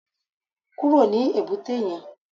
Kúrò ní èbúté yẹn